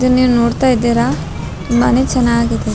ಇದನ್ ನೀವ್ ನೋಡ್ತಾ ಇದ್ದೀರಾ ತುಂಬಾನೇ ಚೆನ್ನಾಗಿದೆ .